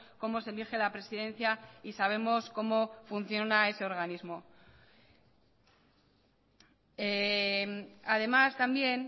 cómo se elige la presidencia y sabemos cómo funciona ese organismo además también